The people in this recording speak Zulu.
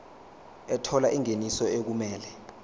ethola ingeniso okumele